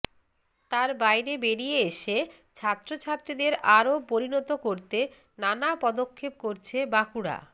তার বাইরে বেরিয়ে এসে ছাত্রছাত্রীদের আরও পরিণত করতে নানা পদক্ষেপ করছে বাঁকুড়া